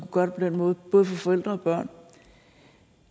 gøre det på den måde både for forældre og børn